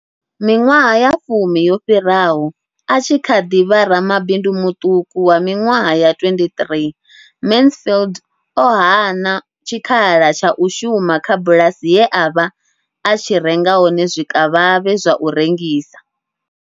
Miṅwaha ya fumi yo fhiraho, a tshi kha ḓi vha ramabindu muṱuku wa miṅwaha ya 23, Mansfield o hana tshikhala tsha u shuma kha bulasi ye a vha a tshi renga hone zwikavhavhe zwa u rengisa.